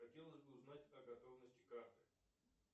хотелось бы узнать о готовности карты